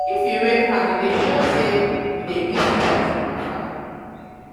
if you wave hand e dey show sey you dey greet pesin from far.